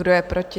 Kdo je proti?